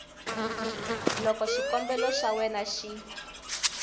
loko xikombelo xa wena xi